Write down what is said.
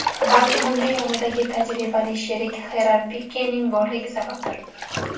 Balki bunga yonidagi tajribali sherik Xerar Pikening borligi sababdir.